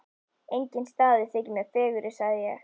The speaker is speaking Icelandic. Enginn staður þykir mér fegurri sagði ég.